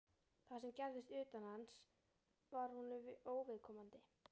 Það sem gerðist utan hans var honum óviðkomandi.